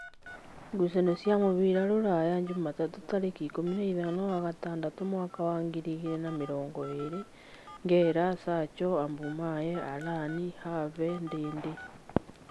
Ngucanio cia mũbira Ruraya Jumatatũ tarĩki ikũmi na ithano wa gatandatũ mwaka wa ngirĩ igĩrĩ na mĩrongo ĩrĩ: Ngera, Sacho, Abumaye, Arani, Have, Ndindĩ